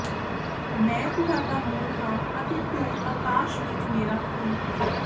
ਮੈਂ ਤੁਹਾਡਾ ਮੂਲ ਹਾਂ ਅਤੇ ਤੂੰ ਅਕਾਸ਼ ਵਿੱਚ ਮੇਰਾ ਫੁਲ ਹੈਂ